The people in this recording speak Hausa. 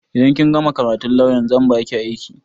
Idan kin gama karatun lawyan zan baki aiki